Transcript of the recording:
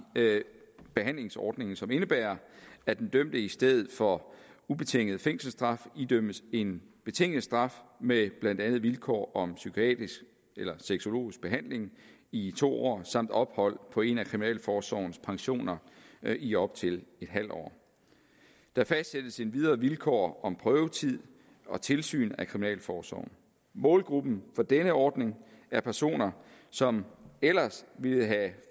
behandlingsordningen som indebærer at den dømte i stedet for ubetinget fængselsstraf idømmes en betinget straf med blandt andet vilkår om psykiatrisk eller sexologisk behandling i to år samt ophold på en af kriminalforsorgens pensioner i op til en halv år der fastsættes endvidere vilkår om prøvetid og tilsyn af kriminalforsorgen målgruppen for denne ordning er personer som ellers ville have